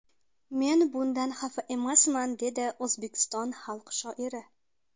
Men bundan xafa emasman”, dedi O‘zbekiston xalq shoiri.